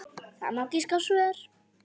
Það má giska á svör.